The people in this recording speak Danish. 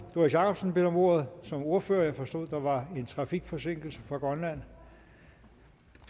doris jakobsen bedt om ordet som ordfører jeg forstod at der var en trafikforsinkelse fra grønland